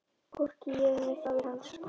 Hvorki ég né faðir hans.